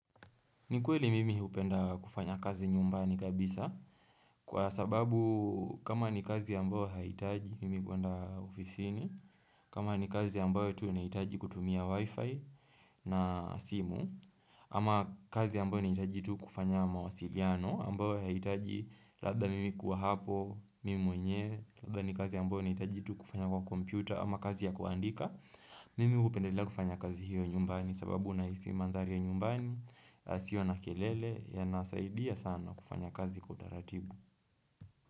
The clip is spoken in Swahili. Ni kweli mimi hupenda kufanya kazi nyumbani kabisa Kwa sababu kama ni kazi ya ambao haitaji mimi kuenda ofisini kama ni kazi ya amabayo tu inahitaji kutumia wifi na simu Ama kazi ya ambayo ni inahitaji tu kufanya mawasiliano ambao haitaji labda mimi kuwa hapo mimi mwenyewe Labda ni kazi ya ambao nahitaji tu kufanya kwa kompyuta Ama kazi ya kuandika Mimi hupendelea kufanya kazi hiyo nyumbani sababu nahisi mandhari ya nyumbani yasio na kelele ya nasaidia sana kufanya kazi kwa utharatibu.